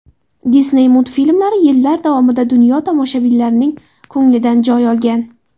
Disney multfilmlari yillar davomida dunyo tomoshabinlarining ko‘nglidan joy olgan.